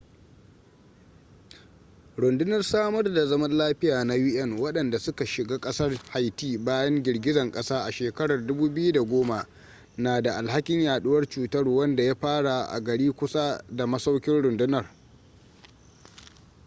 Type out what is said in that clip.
rundunar samar da zaman lafiya na un wadanda suka shiga kasar haiti bayan girgizan kasa a shekarar 2010 na da alhakin yaduwar cutar wanda ya fara a gari kusa da masaukin rundunar